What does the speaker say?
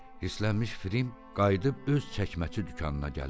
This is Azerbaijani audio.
Hislənmiş Fərim qayıdıb öz çəkməçi dükanına gəlirdi.